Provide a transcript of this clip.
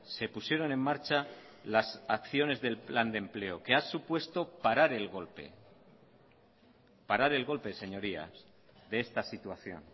se pusieron en marcha las acciones del plan de empleo que ha supuesto parar el golpe parar el golpe señorías de esta situación